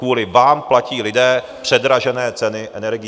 Kvůli vám platí lidé předražené ceny energií.